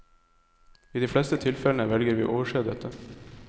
I de fleste tilfellene velger vi å overse dette.